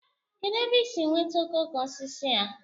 kedụ ebe i si nweta okoko osisi a?